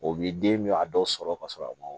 O bi den bɛ a dɔw sɔrɔ ka sɔrɔ a ma